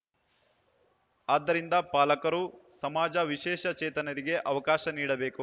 ಆದ್ದರಿಂದ ಪಾಲಕರು ಸಮಾಜ ವಿಶೇಷ ಚೇತನರಿಗೆ ಅವಕಾಶ ನೀಡಬೇಕು